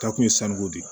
Ta kun ye sanuko de ye